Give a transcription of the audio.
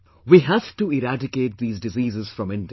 We have to eradicate these diseases from India